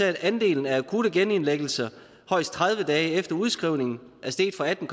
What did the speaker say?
at andelen af akutte genindlæggelser højst tredive dage efter udskrivningen er steget fra atten